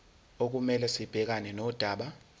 okumele sibhekane nodaba